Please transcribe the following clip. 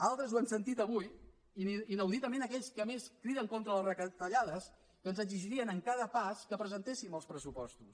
altres ho hem sentit avui inauditament aquells que més criden contra les retallades ens exigien en cada pas que presentéssim els pressupostos